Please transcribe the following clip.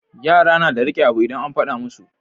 Yara nada rike abu idan an faɗa musu